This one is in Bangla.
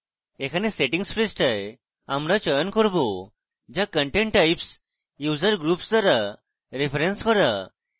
এখানে settings পৃষ্ঠায় আমরা চয়ন করব যা content types user groups দ্বারা referenced করা